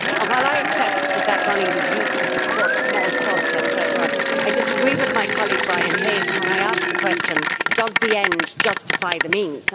While I accept that this money was used to support small clubs, etcetera, I disagree with my colleague Brian Hayes when I ask the question does the end justify the means?'